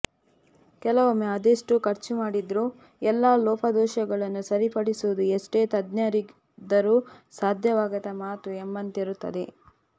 ಕೆಲವೊಮ್ಮೆ ಅದೆಷ್ಟು ಖರ್ಚು ಮಾಡಿದರೂ ಎಲ್ಲ ಲೋಪದೋಷಗಳನ್ನು ಸರಿಪಡಿಸುವುದು ಎಷ್ಟೇ ತಜ್ಞರಿದ್ದರೂ ಸಾಧ್ಯವಾಗದ ಮಾತು ಎಂಬಂತಿರುತ್ತದೆ